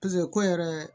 ko yɛrɛ